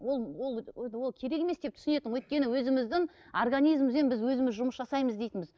ол ол ол керек емес деп түсінетінмін өйткені өзіміздің организмізбен біз өзіміз жұмыс жасаймыз дейтінбіз